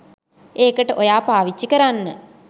ඒකට ඔයාට පාවිච්චි කරන්න